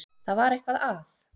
Það var eitthvað að.